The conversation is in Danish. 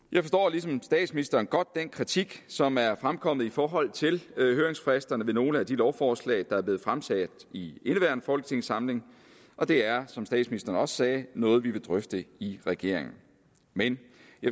ligesom statsministeren godt den kritik som er fremkommet i forhold til høringsfristerne ved nogle af de lovforslag der er blevet fremsat i indeværende folketingssamling og det er som statsministeren også sagde noget vi vil drøfte i regeringen men